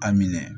A minɛ